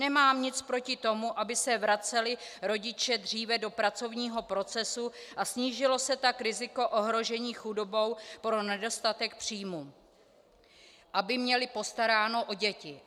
Nemám nic proti tomu, aby se vraceli rodiče dříve do pracovního procesu a snížilo se tak riziko ohrožení chudobou pro nedostatek příjmů, aby měli postaráno o děti.